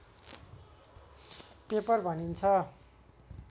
paper भनिन्छ